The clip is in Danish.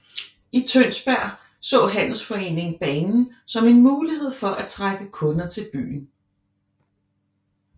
I Tønsberg så handelsforeningen banen som en mulighed for at trække kunder til byen